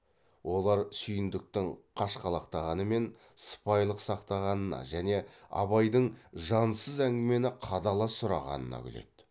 олар сүйіндіктің қашқалақтағаны мен сыпайылық сақтағанына және абайдың жансыз әңгімені қадала сұрағанына күледі